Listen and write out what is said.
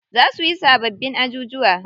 Za suyi sababbin ajujuwa.